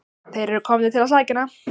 Þeir eru komnir til að sækja hana.